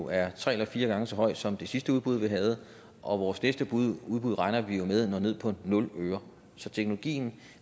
er tre eller fire gange så høj som det sidste udbud vi havde og vores næste udbud regner vi jo med når ned på nul øre så teknologien